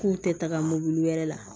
K'u tɛ taga mobili wɛrɛ la